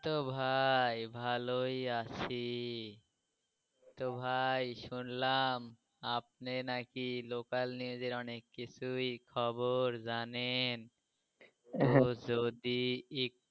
এহ তো ভাই ভালোই আছি। তো ভাই শুনলাম আপনি নাকি local news এর অনেক কিছুই খবর জানেন হঁ তো যদি.